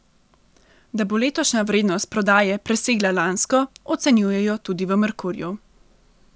Da bo letošnja vrednost prodaje presegla lansko, ocenjujejo tudi v Merkurju.